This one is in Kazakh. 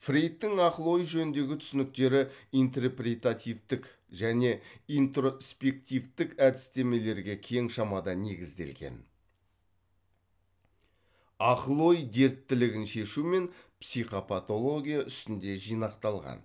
фрейдтың ақыл ой жөніндегі түсініктері интрепретативтік және интроспективтік әдістемелерге кең шамада негізделген ақыл ой дерттілігін шешу мен психопатология үстінде жинақталған